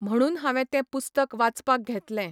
म्हुणून हांवें तें पुस्तक वाचपाक घेतलें.